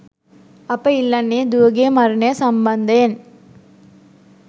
අප ඉල්ලන්නේ දුවගේ මරණය සම්බන්ධයෙන්